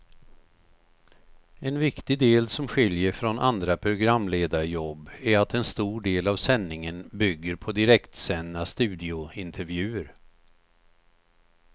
En viktig del som skiljer från andra programledarjobb är att en stor del av sändningen bygger på direktsända studiointervjuer.